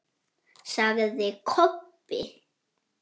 sagði Kobbi.